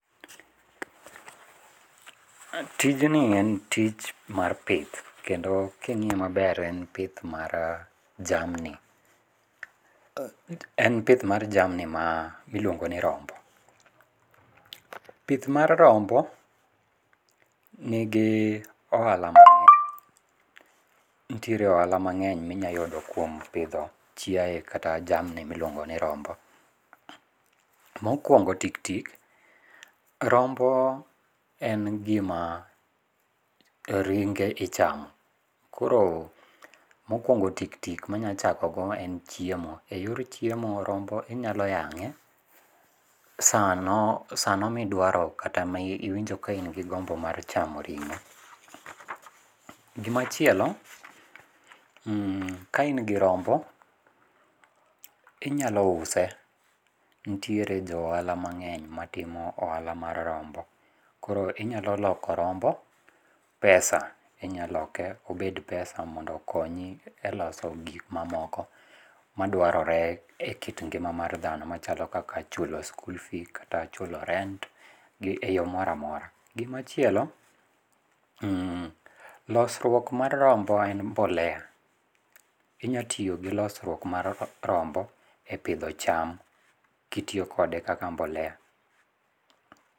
Tijni en tich mar pith kendo king'iye maber en pith mar jamni, en pith mar jamni ma iluongo ni rombo. Pith mar rombo nigi ohala ma nitiere ohala mang'eny minya yudo kuom pidho chiaye kata jamni miluongo ni rombo. Mokuongo tik tik, rombo en gima ringe ichamo koro mokuongo tik tik michako go e n chiemo. Eyor chiemo rombo inya yang'e sano, sano midwaro kata miwinjo ni in gi gombo mar chamo ringo. Gimachielo, , ka in gi rombo tinyalo use, nitiere jo ohala mangeny matimo ohala mar rombo. Koro inyalo loko rombo pesa, inya loke obed pesa mondo okonyi e loso gik mamoko madwarore e kit ngima mar dhano machalo chulo skul fees kata e chulo rent[sc], e yoo moro amora. Gima chielo, losruok mar rombo en mbolea, inya tiyo gi losruok mar rombo e pidho cham kitiyo kode kaka mbolea